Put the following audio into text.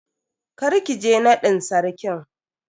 Kar ki je nadin Sarkin.